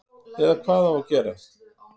Eða hvað á að gera?